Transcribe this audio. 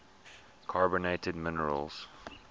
carbonate minerals